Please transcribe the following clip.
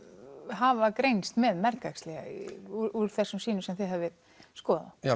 hafa greinst með mergæxli úr þessum sýnum sem þið hafið skoðað